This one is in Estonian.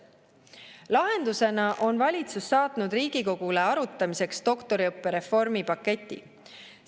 Lahendusena on valitsus saatnud Riigikogule arutamiseks doktoriõppe reformi paketi.